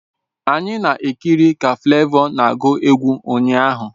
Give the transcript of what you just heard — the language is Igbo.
Anyị kiriri ka Flavour na agu egwu ụnyaahụ